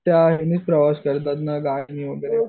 त्या करताना गाडीनं वगैरे.